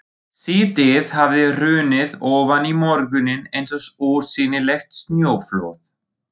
Síðdegið hafði hrunið ofan í morguninn eins og ósýnilegt snjóflóð.